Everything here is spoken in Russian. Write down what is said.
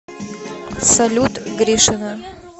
салют гришина